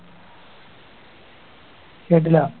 കേട്ടില്ല